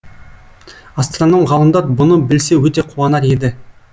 астраном ғалымдар бұны білсе өте қуанар еді